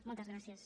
moltes gràcies